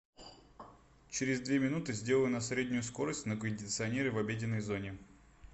через две минуты сделай на среднюю скорость на кондиционере в обеденной зоне